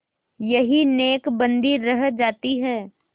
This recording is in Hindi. यही नेकबदी रह जाती है